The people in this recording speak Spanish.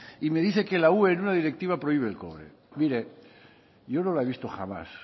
y me dice que la ue en una directiva prohíbe el cobre mire yo no la he visto jamás